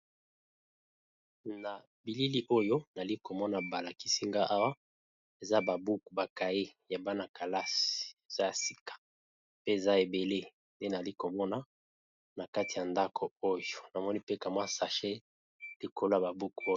Na bilili oyo nali komona balakisinga awa, eza babuku bakai ya bana-kalasi eza ya sika pe eza ebele nde nali komona na kati ya ndako oyo, namoni mpe kamwa sachet likolo ya babuku oyo.